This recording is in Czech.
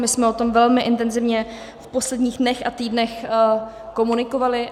My jsme o tom velmi intenzivně v posledních dnech a týdnech komunikovali.